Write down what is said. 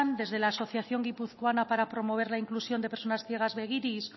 desde la asociación guipuzcoana para promover la inclusión de personas ciegas begiris